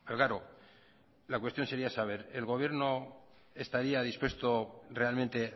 claro la cuestión sería saber el gobierno estaría dispuesto realmente